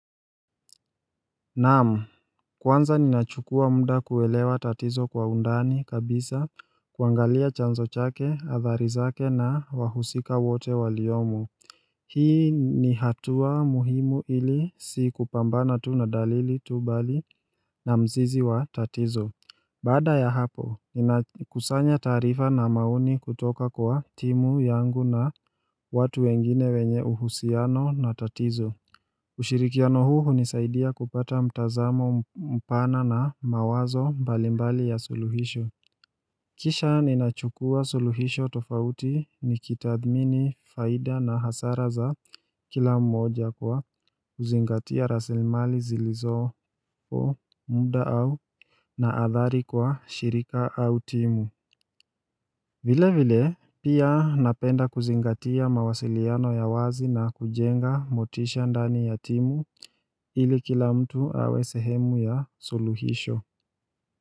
Naam, kwanza ninachukua muda kuelewa tatizo kwa undani kabisa kuangalia chanzo chake, athari zake na wahusika wote waliomo Hii ni hatua muhimu ili si kupambana tu na dalili tu bali na mzizi wa tatizo Bada ya hapo, ninakusanya taarifa na maoni kutoka kwa timu yangu na watu wengine wenye uhusiano na tatizo ushirikiano huu nizaidia kupata mtazamo mpana na mawazo mbalimbali ya suluhisho Kisha ninachukua suluhisho tofauti nikitadhini faida na hasara za kila mmoja kwa kuzingatia rasilmali zilizo muda au na athari kwa shirika au timu vile vile pia napenda kuzingatia mawasiliano ya wazi na kujenga motisha ndani ya timu ili kila mtu awe sehemu ya suluhisho.